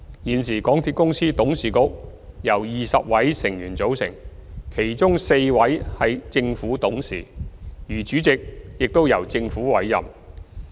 現時港鐵公司董事局由20位成員組成，當中4位為政府董事，而主席亦由政府委任。